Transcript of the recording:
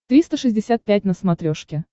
триста шестьдесят пять на смотрешке